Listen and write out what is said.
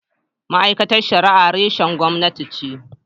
Ma’aikatar Shari’a reshen gwamnati ce.